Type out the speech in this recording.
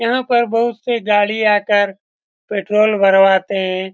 यहाँ पर बहुत से गाड़ी आकर पेट्रोल भरवाते हैं।